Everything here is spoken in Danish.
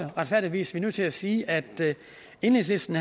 retfærdigvis er nødt til at sige at enhedslisten